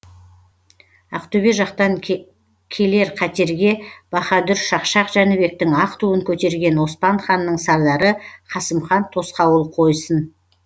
ақтөбе жақтан келер қатерге баһадүр шақшақ жәнібектің ақ туын көтерген оспан ханның сардары қасымхан тосқауыл қойсын